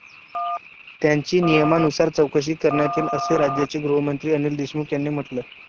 त्यांची नियमानुसार चौकशी करण्यात येईल असं राज्याचे गृहमंत्री अनिल देशमुख यांनी म्हंटलंय.